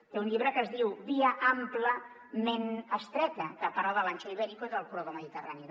té un llibre que es diu via ampla ment estreta que parla de l’ancho ibérico i del corredor mediterrani